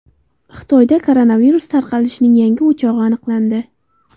Xitoyda koronavirus tarqalishining yangi o‘chog‘i aniqlandi.